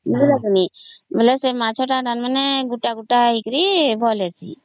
ବେଲେ ସେ ମାଛ ଟା ଗୁଟ ଗୁଟ ହେଇକରି ଭଲ ହେଇଶି